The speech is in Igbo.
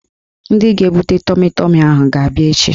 Ndị ga-ebute tọmi tọmi ahụ ga-abịa echi